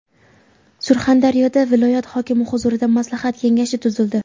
Surxondaryoda viloyat hokimi huzurida maslahat kengashi tuzildi.